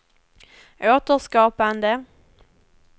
återskapande